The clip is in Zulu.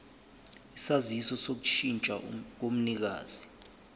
isaziso sokushintsha komnikazi